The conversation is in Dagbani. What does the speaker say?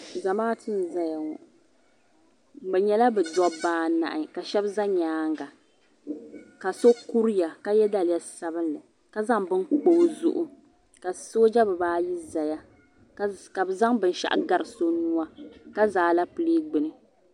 Zamaatu n zaya ŋɔ bɛ nyɛla bɛ dooba anahi sheba nyaanga ka so kuriya ka ye daliya sabinli ka zaŋ bini kpa o zuɣu ka sooja bibaayi zaya ka bɛ zaŋ binshaɣu gari so nua ka za Alapilee gbini.